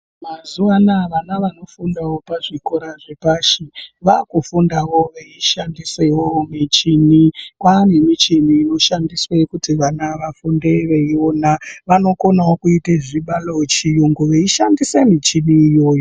Mazuva anawa vana vakufunda pazvikora zvepashi vakufundawo veishandisawo michini Kwane michini inoshandiswa kuti vana vafunde veiona unokona kuitawo zvibaro zviringu veishandisawo michini iyona.